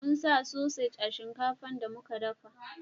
mun sa sosaj a shinkafa shinkafan da muka dafa